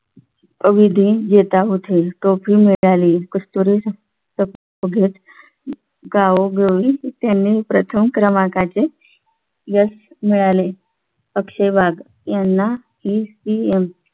अवधी देता होते टोपी मिळाली कस्तुरी पुष्पगुच्छ देताना गावोगावी त्यांनी प्रथम क्रमांकाचे यश मिळाले. अक्षय वाघ यांना ही सीएम